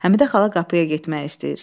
Həmidə xala qapıya getmək istəyir.